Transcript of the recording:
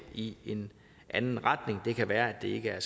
i en anden retning det kan være at det er